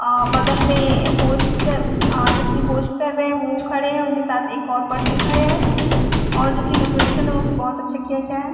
अ बगल में होस्ट जोकि होस्ट कर रहे हैं वो खड़े हैं उनके साथ एक और पर्सन खड़े हैं और जो की डेकोरेशन है ओ भी बहोत अच्छे किया गया है।